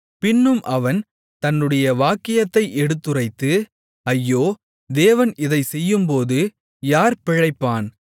பின்னும் அவன் தன்னுடைய வாக்கியத்தை எடுத்துரைத்து ஐயோ தேவன் இதைச்செய்யும்போது யார் பிழைப்பான்